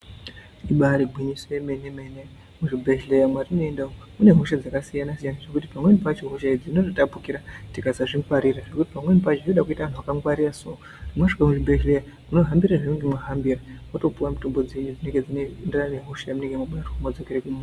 Ibaari gwinyiso remene rekuti muzvibhehlera mwatinoenda umu mune hosha dzakasiyana siyana dzokuti pamweni pacho hosha idzi dzinotapukira tikasazvingwarira pamweni pacho zvinoda kuita vanhu vakatingwarira so mosvika kuzvibhehlera mohambira zvaunenge wahambira wotopiwa mitombo dzenyu dzamunenge mabatwa wozvidzokera kumba.